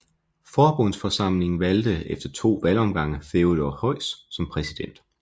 Forbundsforsamlingen valgte efter to valgomgange Theodor Heuss som præsident